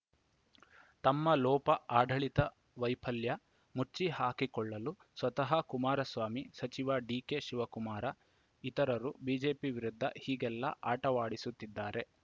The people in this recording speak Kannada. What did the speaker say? ತಮ್ಮ ಲೋಪ ಆಡಳಿತ ವೈಫಲ್ಯ ಮುಚ್ಚಿ ಹಾಕಿಕೊಳ್ಳಲು ಸ್ವತಃ ಕುಮಾರಸ್ವಾಮಿ ಸಚಿವ ಡಿಕೆಶಿವಕುಮಾರ ಇತರರು ಬಿಜೆಪಿ ವಿರುದ್ಧ ಹೀಗೆಲ್ಲಾ ಆಟವಾಡಿಸುತ್ತಿದ್ದಾರೆ